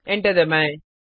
enter दबाएं